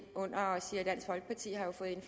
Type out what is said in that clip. under